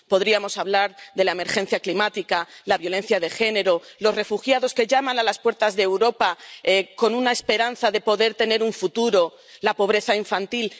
Podríamos hablar de la emergencia climática, la violencia de género, los refugiados que llaman a las puertas de Europa con la esperanza de poder tener un futuro, la pobreza infantil